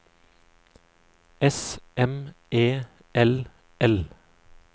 S M E L L